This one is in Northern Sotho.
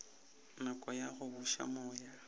nako ya go buša moya